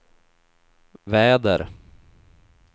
väder